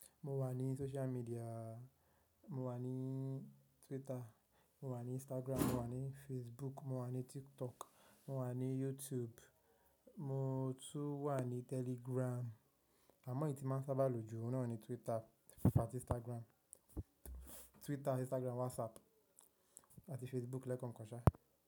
Mo wà ní social media, mo wà ní Twitter, mo wà ní Instagram, mo wà ní Facebook, mo wà ní TikTok, mo wà ní YouTube, mo tún wà ní Telegram. Àmọ́ ìdí tí máa ń sábà lò ju òun náà ni Twitter, àti Instagram, Twitter, Instagram, WhatsApp àti Facebook lẹ́ kankan ṣá.